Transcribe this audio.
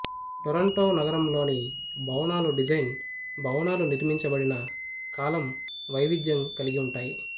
Toronto నగరంలోని భవనాలు design భవనాలు నిర్మించబడిన కాలం వైవిధ్యం కలిగి ఉంటాయి